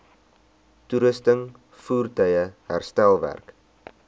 toerusting voertuie herstelwerk